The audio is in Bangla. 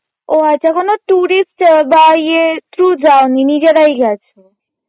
ও আচ্ছা ওখানে tourist বা ইয়ে through যাওনি নিজেরাই গেছো.